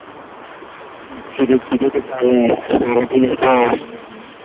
খিদে খিদে তে তালে এক পরের দিনে দশ